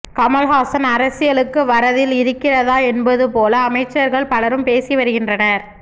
கமல்ஹாசன் அரசியலுக்கு வர தில் இருக்கிறதா என்பது போல அமைச்சர்கள் பலரும் பேசி வருகின்றனர்